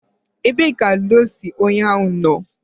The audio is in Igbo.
ebee ka ludo si unyahu no?